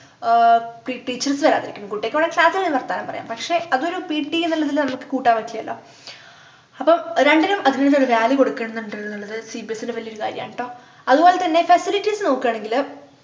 ആഹ് ടീ teachers വരാതിറിക്ക്ന്നത് കുട്ടികക്ക് വേണേൽ class ൽനിന്ന് വർത്താനം പറയാം പക്ഷെ അതൊരു pt എന്നുള്ളതില് നമ്മക്ക് കൂട്ടാൻ പറ്റില്ലാലോ അപ്പോം രണ്ടിനും അതിന്റെതായ value കൊടുക്കുന്നുണ്ട് ന്നുള്ളത് cbse ന്റെ വല്യൊരു കാര്യാണ് ട്ടോ അതുപോലെ തന്നെ facilities നോക്കുആണെങ്കില്